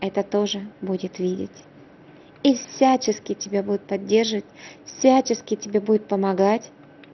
это тоже будет видеть и всячески тебе будут поддерживать всячески тебе будет помогать